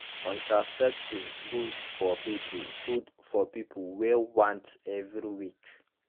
contraceptives good for people good for people wey want every week